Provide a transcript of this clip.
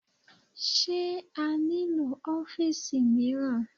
Sé a nílò ọ́fìsì mìíràn?